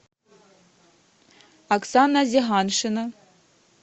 оксана зиганшина